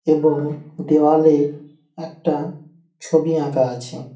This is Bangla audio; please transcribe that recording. এবং দেওয়ালে একটা ছবি আঁকা আছে।